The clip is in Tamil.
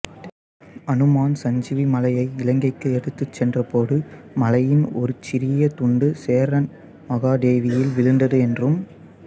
அனுமான் சஞ்சீவி மலையை இலங்கைக்கு எடுத்துச் சென்றபோது மலையின் ஒருசிறிய துண்டு சேரன்மகாதேவியில் விழுந்தது என்றும்